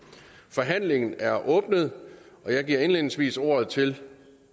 forhandlingen er åbnet jeg giver indledningsvis ordet til